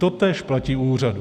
Totéž platí u úřadů.